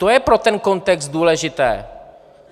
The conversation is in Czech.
To je pro ten kontext důležité.